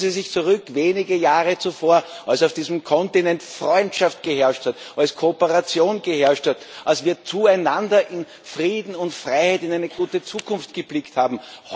Erinnern Sie sich zurück, wenige Jahre zuvor, als auf diesem Kontinent Freundschaft geherrscht hat, als Kooperation geherrscht hat, als wir zueinander in Frieden und Freiheit in eine gute Zukunft geblickt haben!